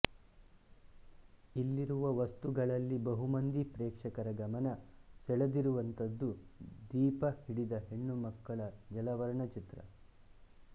ಇಲ್ಲಿರುವ ವಸ್ತುಗಳಲ್ಲಿ ಬಹುಮಂದಿ ಪ್ರೇಕ್ಷಕರ ಗಮನ ಸೆಳೆದಿರುವಂಥದ್ದು ದೀಪ ಹಿಡಿದ ಹೆಣ್ಣುಮಗಳ ಜಲವರ್ಣ ಚಿತ್ರ